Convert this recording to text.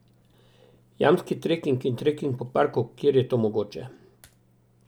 Jamski treking in treking po parku, kjer je to mogoče.